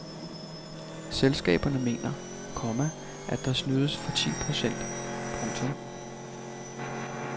Selskaberne mener, komma at der snydes for ti procent. punktum